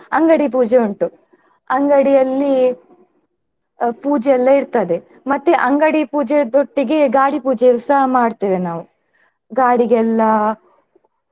ಅಂಗಡಿ ಪೂಜೆ ಉಂಟು ಅಂಗಡಿಯಲ್ಲಿ ಅಹ್ ಪೂಜೆ ಎಲ್ಲಾ ಇರ್ತದೆ ಮತ್ತೆ ಅಂಗಡಿ ಪೂಜೆದೊಟ್ಟಿಗೆ ಗಾಡಿ ಪೂಜೆಸ ಮಾಡ್ತೇವೆ ನಾವು ಗಾಡಿಗೆಲ್ಲಾ .